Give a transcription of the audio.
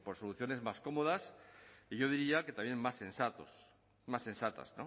soluciones más cómodas y yo diría que también más sensatas